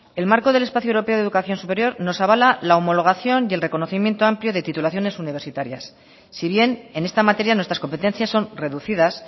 el marco del espacio europeo de educación superior nos avala la homologación y el reconocimiento amplio de titulaciones universitarias si bien en esta materia nuestras competencias son reducidas